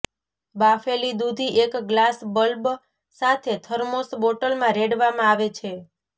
બાફેલી દૂધ એક glass bulb સાથે થર્મોસ બોટલમાં રેડવામાં આવે છે